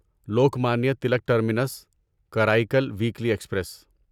Lokmanya Tilak terminus Karaikal weekly express